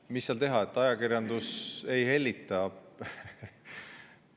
Ja mis seal teha, ajakirjandus ei hellita.